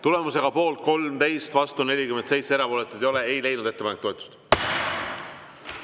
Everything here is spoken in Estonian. Tulemusega poolt 13, vastu 47, erapooletuid ei ole, ei leidnud ettepanek toetust.